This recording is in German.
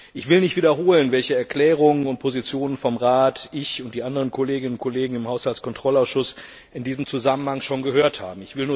Ich will nicht wiederholen, welche Erklärungen und Positionen ich und die anderen Kolleginnen und Kollegen im Haushaltskontrollausschuss in diesem Zusammenhang schon vom Rat gehört haben.